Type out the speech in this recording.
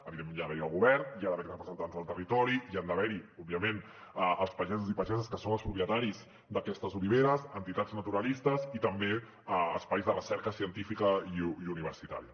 evidentment hi ha d’haver hi el govern hi ha d’haver hi representants del territori hi han d’haver hi òbviament els pagesos i pageses que són els propietaris d’aquestes oliveres entitats naturalistes i també espais de recerca científica i universitària